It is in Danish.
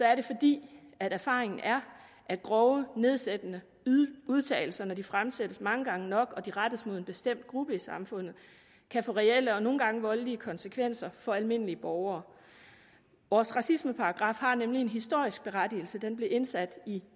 er det fordi erfaringen er at grove nedsættende udtalelser når de fremsættes mange gange nok og de rettes mod en bestemt gruppe i samfundet kan få reelle og nogle gange voldelige konsekvenser for almindelige borgere vores racismeparagraf har nemlig en historisk berettigelse den blev indsat i